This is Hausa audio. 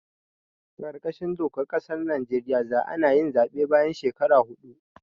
A kar kashin dokar ƙasar Najeriya za anayin zaɓe bayan shekara hudu